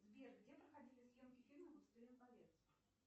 сбер где проходили съемки фильма властелин колец